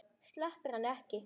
Sleppir henni ekki.